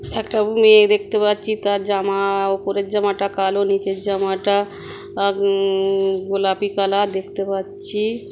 একটা মেয়ে দেখতে পাচ্ছি তার জা-মা-- উপরের জামাটা কালো নিচের জামাটা গোলাপী কালার দেখতে পাচ্ছি।